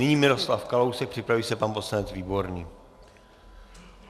Nyní Miroslav Kalousek, připraví se pan poslanec Výborný.